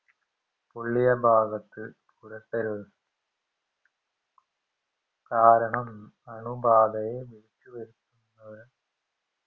പൊള്ളിയഭാഗത് പുരട്ടരുത് കാരണം അണുബാധയെ വിളിച്ചുവരുത്തുന്നതിന്